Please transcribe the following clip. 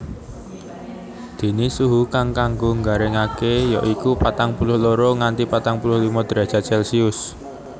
Déné suhu kang kanggo nggaringaké ya iku patang puluh loro nganti patang puluh limo drajat Celcius